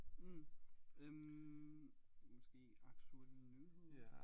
Mh øh måske aktuelle nyheder